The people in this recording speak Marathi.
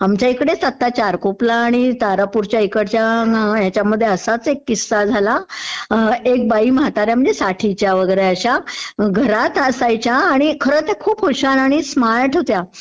आमच्या इकडेच आता चारकोपला आणि तारापूरच्या इकडच्या ह्याच्यामध्ये असाच एक किस्सा झाला. एक बाई म्हाताऱ्या महणजे साठीच्या वगैरे अश्या घरात असायच्या आणि मग ते खूप हुशार आणि स्मार्ट होत्या.